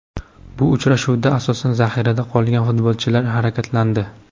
Bu uchrashuvda, asosan, zaxirada qolgan futbolchilar harakatlandi.